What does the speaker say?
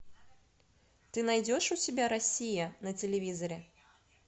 ты найдешь у себя россия на телевизоре